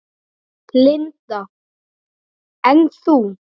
Linda: En þú?